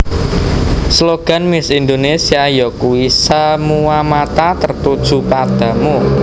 Slogan Miss Indonésia yakuwi Semua Mata Tertuju Padamu